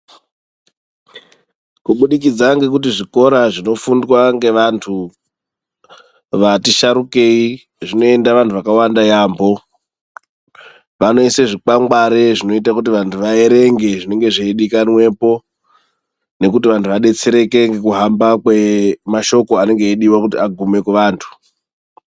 Kubudikidza ngekuti zvikora zvinofundwa ngevantu vatisharukei zvinoenda vantu vakawanda yaamho. Vanoise zvikwangware zvinoite kuti vantu vaerenge zvinenge zveidiwapo nekuti vantu vadetsereke ngekuhamba kwemashoko anenge eidiwa kuti agume kuvantu.